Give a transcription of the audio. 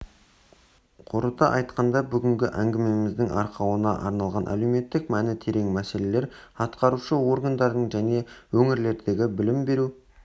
қорыта айтқанда бүгінгі әңгімеміздің арқауына айналған әлеуметтік мәні терең мәселелер атқарушы органдардың және өңірлердегі білім беру